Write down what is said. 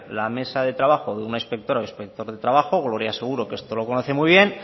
la mesa de trabajo de una inspectora o inspector de trabajo gloria seguro que esto lo conoce muy bien